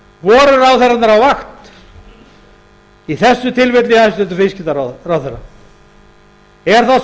voru ráðherrarnir á vakt í þessu tilfelli hæstvirtur viðskiptaráðherra er það